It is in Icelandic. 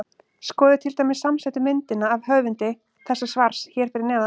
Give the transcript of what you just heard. Skoðið til dæmis samsettu myndina af höfundi þessa svars hér fyrir neðan.